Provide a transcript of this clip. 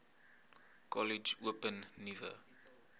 kollege open nuwe